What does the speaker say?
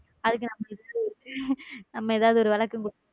அதுக்கு நம்ம ஏதாவது ஒரு விளக்கம் கொடுக்கணும்.